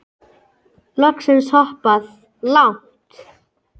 Loksins hoppað. langt!